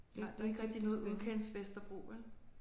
Nej der er ikke rigtig noget udkantsvesterbro vel?